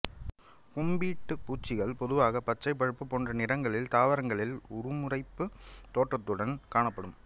கும்பிடுபூச்சிகள் பொதுவாக பச்சை பழுப்பு போன்ற நிறங்களில் தாவரங்களில் உருமறைப்புத் தோற்றத்துடன் காணப்படும்